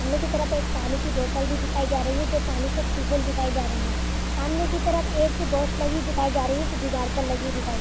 अंदर की तरफ एक पानी की बोटल भी दिखाई जा रही है जो पानी से दिखाई जा रही है सामने की तरफ एक वाच दिखाई जा रही है जो दिवार पर लगी दिखाई जा रही हैं।